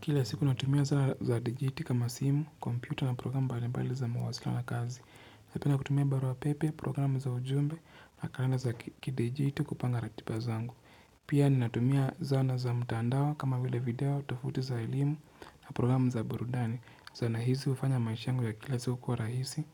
Kila siku natumia zana za digiti kama simu, kompyuta na programu mbalimbali za mawasiliano na kazi. Napenda kutumia barua pepe, programu za ujumbe na kalenda za kidijiti kupanga ratiba zangu. Pia ninatumia zana za mtandao kama vile video tofauti za elimu na programu za burudani. Zana hizi hufanya maisha yangu ya kila siku kuwa rahisi,